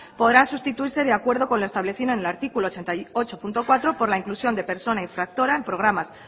podrán sustituirse de acuerdo con lo establecido en el artículo ochenta y ocho punto cuatro por la inclusión de persona infractora en programas